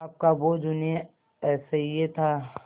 पाप का बोझ उन्हें असह्य था